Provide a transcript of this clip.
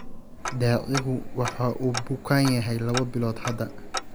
Daacigu waxa uu bukanyahay laba bilood hadda